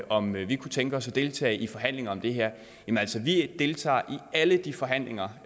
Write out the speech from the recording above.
om vi kunne tænke os at deltage i forhandlinger om det her altså vi deltager i alle de forhandlinger